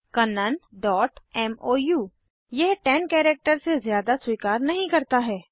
kannanमोउ यह 10 कैरेक्टर से ज़्यादा स्वीकार नहीं करता है